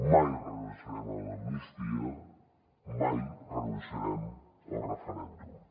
mai renunciarem a l’amnistia mai renunciarem al referèndum